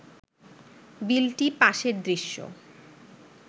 বিলটি পাসের দৃশ্য